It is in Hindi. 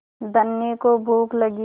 धनी को भूख लगी